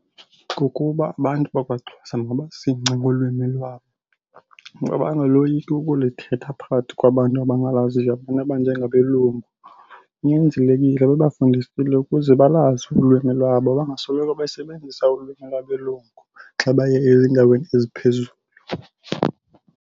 Kukuba abantu bakwaXhosa mabazingce ngolwimi lwabo, mabangaloyiki ukulithetha phakathi kwabantu abangalaziyo abantu abanjengabelungu. Kunyanzelekile bebafundisile ukuze balazi ulwimi lwabo bangasoloko besebenzisa ulwimi lwabelungu xa baye ezindaweni eziphezulu.